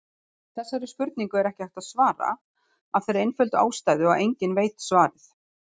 Þessari spurningu er ekki hægt að svara af þeirri einföldu ástæðu að enginn veit svarið.